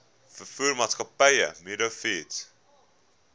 veevoermaatskappy meadow feeds